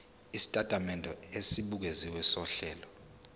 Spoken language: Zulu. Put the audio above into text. isitatimende esibukeziwe sohlelo